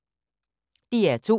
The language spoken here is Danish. DR2